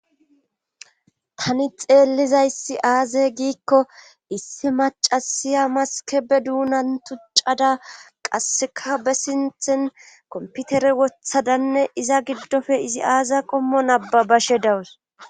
Tani xeellizayssi aaze giikko issi macasiya maskebe duunan tuccada qasseka be sinthen komputere wothadanne iza giddofe izi aaziya qommo nababashe dawus.